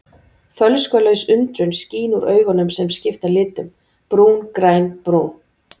Fölskvalaus undrun skín úr augunum sem skipta litum: brún, græn, brún.